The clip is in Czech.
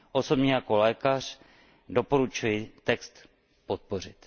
Osobně jako lékař doporučuji text podpořit.